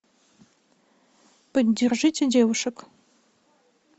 поддержите девушек